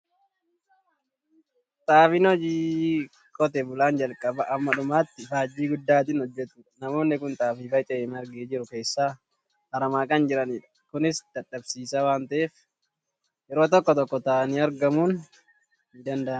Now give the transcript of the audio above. Xaafiin hojii qotee bulaan jalqabaa hamma dhumaatti ifaajjii guddaatiin hojjetudha. Namoonni kun xaafii faca'ee margee jiru keessaa aramaa kan jiranidha. Kunis dadhabsiisaa waan ta'eef, yeroo tokko tokko taa'anii aramuun ni danda'ama.